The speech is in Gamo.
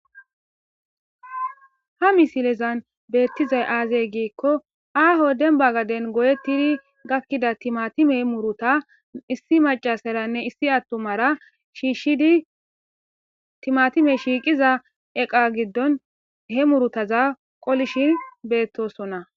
ha misilezan beettizay aazey giikko aaho denbagaden goyettiri gakkida timatime muruta issi macasaranne issi attumara shiishidi timatime shiiqiza eqa giddon he murutaza qolishin beettosonna